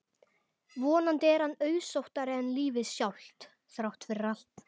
Vonandi er hann auðsóttari en lífið sjálft, þrátt fyrir allt.